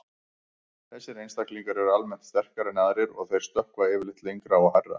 Þessir einstaklingar eru almennt sterkari en aðrir og þeir stökkva yfirleitt lengra og hærra.